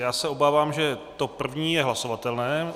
Já se obávám, že to první je hlasovatelné.